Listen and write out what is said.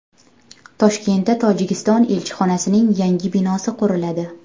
Toshkentda Tojikiston elchixonasining yangi binosi quriladi.